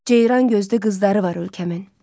Ceyran gözlü qızları var ölkəmin.